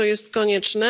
To jest konieczne.